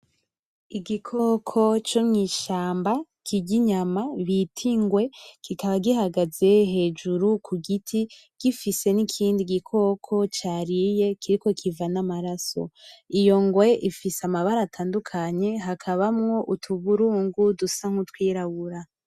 Igikoko co mw'ishamba kirya inyama bita ingwe, kikaba gihagaze hejuru ku giti gifise n'ikindi gikoko cariye kiriko kiva n'amaraso, iyo ngwe ifise amabara atandukanye hakabamwo utuburungu dusa nkutwirabura.